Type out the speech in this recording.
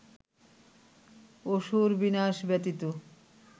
অসুর-বিনাশ ব্যতীত